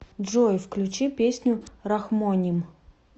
джой включи песню рахмоним